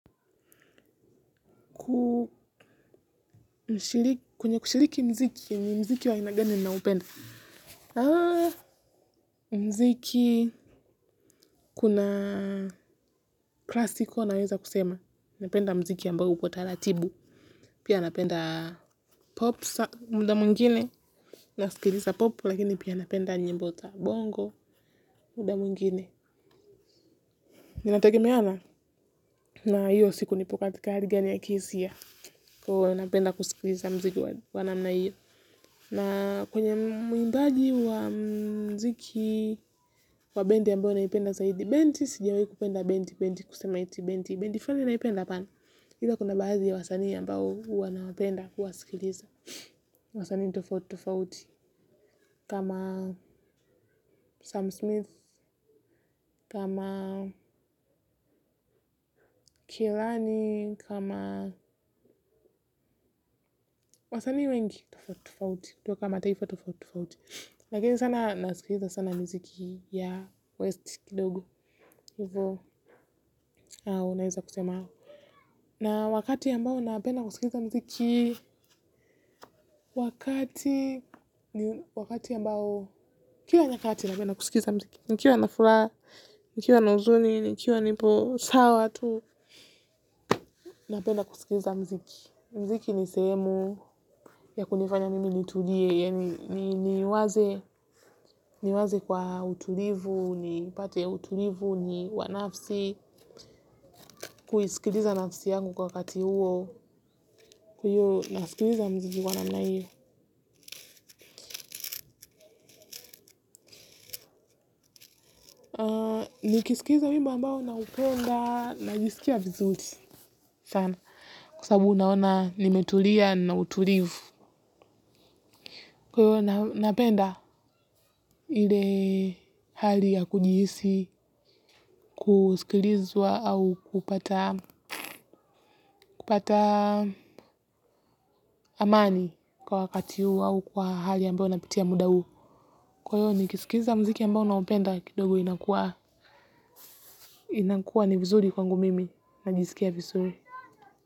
Kwenye kushiriki mziki, ni mziki wa aina gani naopenda. Mziki kuna klasiko naweza kusema. Napenda mziki ambao uko taratibu. Pia napenda popsa mda mwingine. Nasikiliza pop, lakini pia napenda nyimbo za bongo mda mwingine. Ninategemea na hiyo siku nipo katika hali gani ya kiisia. Kwaio napenda kusikilisa mziki wa namna hiyo. Na kwenye mwimbaji wa mziki wa bendi ambao naipenda zaidi, bendi, sijawai kupenda, bendi, bendi, kusema iti, bendi, bendi, flani unaipenda apana. Ila kuna baadhi ya wasani ambao uwa nawapenda, kuwasikiliza. Wasani tofauti tofauti, kama Sam Smith, kama Kilani, kama wasani wengi tofauti tofauti, toka mataifa tofauti tofauti. Lakini sana nasikiliza sana mziki ya West kidogo unaeza kusema. Na wakati ambao napenda kusikiliza mziki. Wakati, ambao kila nyakati napenda kusikiza mziki. Nikiwa na furaha, nikiwa na uzuni, nikiwa nipo sawa tu. Napenda kusikiza mziki. Mziki ni sehemu ya kunifanya mimi nitulie. Niwaze kwa utulivu nipate utulivu wa nafsi kuisikiliza nafsi yangu kwa wakati huo kwa hio nasikiliza mziki wa namna hio nikisikiliza wimbo ambao naupenda najisikia vizuti sana kwa sabu naona nimetulia na utulivu kwa hivo napenda ile hali ya kujihisi kusikilizwa au kupata amani kwa wakati huo au kwa hali ambao unapitia muda huo. Kwa hio nikisikiza mziki ambao naupenda kidogo inakua ni vuzuri kwangu mimi. Najisikia vizuri.